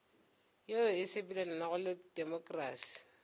yeo e sepelelanago le temokrasi